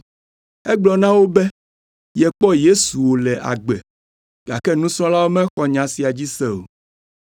Egblɔ na wo be yekpɔ Yesu wòle agbe, gake nusrɔ̃lawo mexɔ nya sia dzi se o.